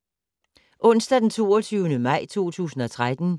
Onsdag d. 22. maj 2013